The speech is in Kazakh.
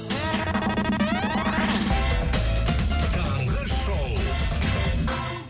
таңғы шоу